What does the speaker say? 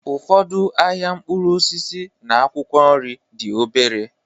Ụfọdụ ahịa mkpụrụ osisi na akwụkwọ nri dị obere.